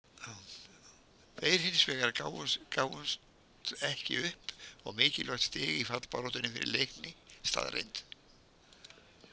Þeir hinsvegar gáfumst ekki upp og mikilvægt stig í fallbaráttunni fyrir Leikni staðreynd.